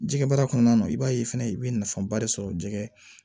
Jɛgɛ baara kɔnɔna na i b'a ye fɛnɛ i bɛ nafaba de sɔrɔ jɛgɛ